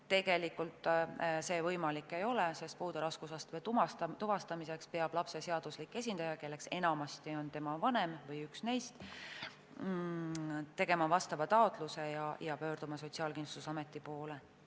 Tegelikult see võimalik ei ole, sest puude raskusastme tuvastamiseks peab lapse seaduslik esindaja, kelleks enamasti on tema vanem või üks vanematest, tegema taotluse ja pöörduma Sotsiaalkindlustusameti poole.